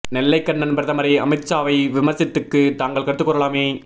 நெல்லை கண்ணன் பிரதமரை அமித்ஷா வை விமர்ச்சித்துக்கு தாங்கள் கருத்து கூறலாமே